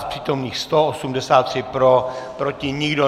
Z přítomných 183 pro, proti nikdo.